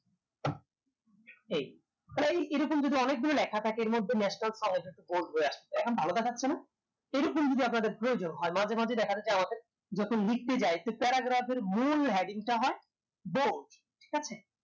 এই প্রায় এরকম যদি অনেকগুলো লেখা থাকে এর মধ্যে national bold হয়ে আসবে এখন ভালো দেখাচ্ছে না এরকম যদি আপনাদের প্রয়োজন হয় মাঝে মাঝে দেখা যায় যে আমাদের paragraph এর মূল heading তা হয় bold ঠিকাছে